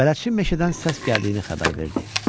Bələdçi meşədən səs gəldiyini xəbər verdi.